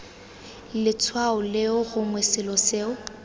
letshwao leo gongwe selo seo